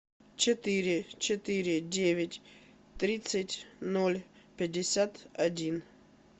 четыре четыре девять тридцать ноль пятьдесят один